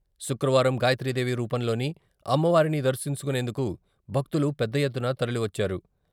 శుక్రవారం గాయత్రీ దేవి రూపంలోని అమ్మవారిని దర్శించుకునేందుకు భక్తులు పెద్దఎత్తున తరలివచ్చారు.